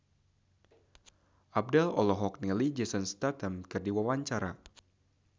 Abdel olohok ningali Jason Statham keur diwawancara